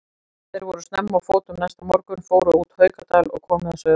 Þeir voru snemma á fótum næsta morgun, fóru út Haukadal og komu að Sauðafelli.